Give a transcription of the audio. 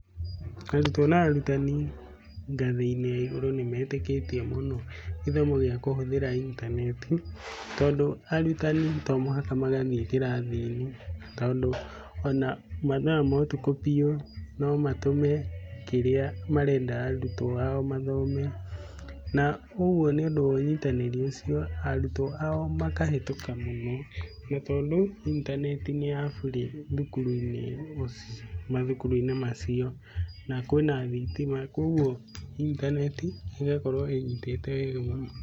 Arutwo na arutani ngathĩ-inĩ ya igũrũ nĩ metikĩtie mũno gĩthomo gĩa kũhũthĩra intaneti. Tondũ arutani to mũhaka magathiĩ kĩrathi-inĩ, tondũ ona mathaa ma ũtukũ piũ no matũme kĩrĩa marenda arutwo ao mathome. Na ũguo nĩ ũndũ wa ũnyitanĩri ũcio arutwo ao makahĩtũka mũno nĩ tondũ intaneti nĩ ya burĩ thukuru-inĩ ũguo mathukuru-inĩ macio, na kwĩna thitima. Ũguo intaneti ĩgakorwo ĩnyitĩte wega mũno.